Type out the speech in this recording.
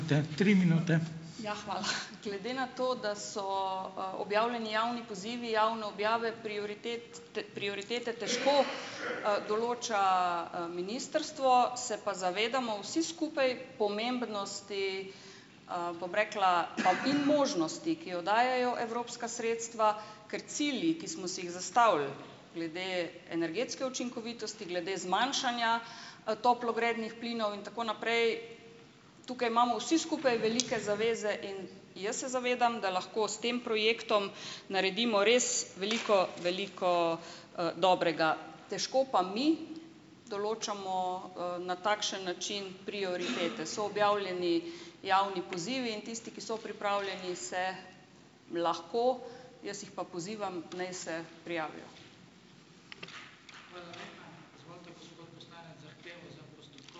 Ja, hvala. Glede na to, da so, objavljeni javni pozivi javne objave prioritet. Te prioritete težko, določa, ministrstvo, se pa zavedamo vsi skupaj pomembnosti, bom rekla, pa in možnosti, ki jo dajejo evropska sredstva, ker cilji, ki smo si jih zastavili glede energetske učinkovitosti, glede zmanjšanja, toplogrednih plinov in tako naprej, tukaj imamo vsi skupaj velike zaveze in jaz se zavedam, da lahko s tem projektom naredimo res veliko, veliko, dobrega. Težko pa mi določamo, na takšen način prioritete. So objavljeni javni pozivi in tisti, ki so pripravljeni, se lahko, jaz jih pa pozivam, naj se prijavijo.